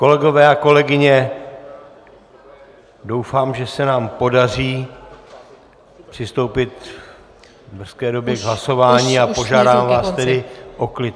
Kolegové a kolegyně, doufám, že se nám podaří přistoupit v brzké době k hlasování, a požádám vás tedy o klid.